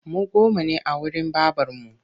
Mu goma ne a wurin babarmu